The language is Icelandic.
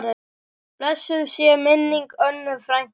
Blessuð sé minning Önnu frænku.